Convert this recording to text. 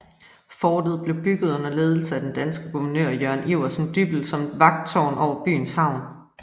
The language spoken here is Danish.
Fortet blev bygget under ledelse af den danske guvernør Jørgen Iversen Dyppel som et vagttårn over byens havn